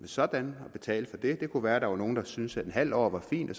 sådan og betale for det det kunne være der var nogen der ville synes at en halv år var fint og